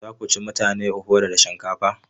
Za ku ci mutane ofada da shinkafa?